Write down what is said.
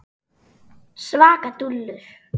Svaka dúllur!